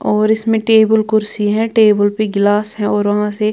और इसमें टेबल कुर्सी है टेबल पे गिलास है और वहां से--